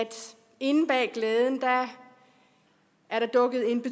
inde bag glæden er der dukket en